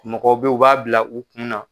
Mɔgɔ bɛ u b'a bila u kunna.